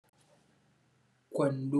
kaman bota bota shine ɗanɗanon wannan kayan marmarin. Ana cinta ne a ɗanyenta, za a iyya cinta a cikin abinci, a cikin salat ma ana cinta. Tanada matuƙar daɗi wurinci amma ga wanda ya iyyaci kenan dan yawanci Hausawan mu basu iyya ma cinta ba basu san yanda ake amfani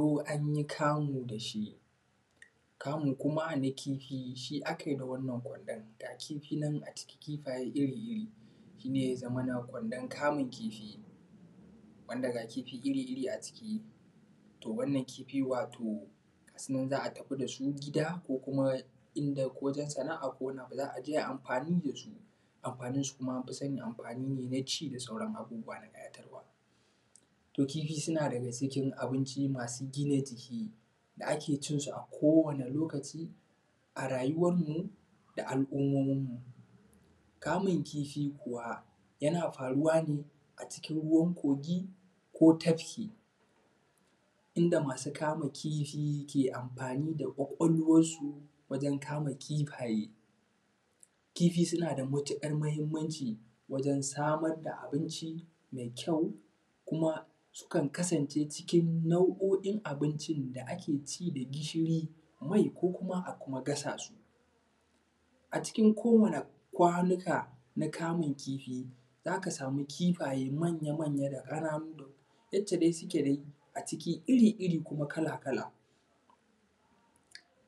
da itta ba. ko tafki, inda masu kamun kifi ke amfani da kwakwalwansu dan kamun kifaye. Kifi sunada matuƙar mahimmanci wajen samar da abinci mai kyau kuma sukan kasance cikin nau’oin abincin da ake ci da gishiri, mai ko kuma a kuma gasassu. A cikin kowani kwanuka na kamun kifi zaka samu manya manya da ƙananu yacce dai sukeda a ciki iri iri kuma kala kala.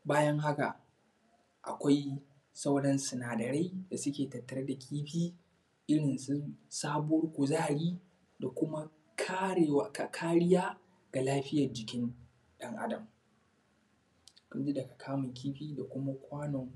Bayan haka akwai sauran sinadarai da suke tattare da kifi, irinsu samun kuzari da kuma kariya ga lafiyan jikin ɗan adam kaɗan daga kamun kifi da kuma kwanon.